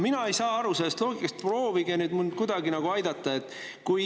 Mina ei saa sellest loogikast aru, proovige mind kuidagi aidata.